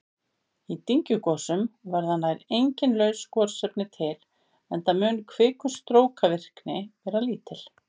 Í dyngjugosum verða nær engin laus gosefni til enda mun kvikustrókavirkni vera lítil.